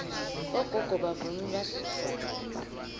bogogo bavunula sidvwaba